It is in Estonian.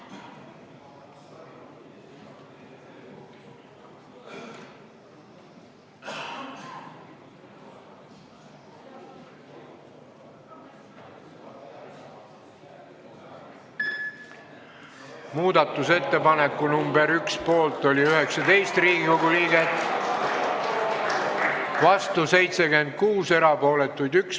Hääletustulemused Muudatusettepaneku nr 1 poolt oli 19 Riigikogu liiget , vastuolijaid oli 76, erapooletuid 1.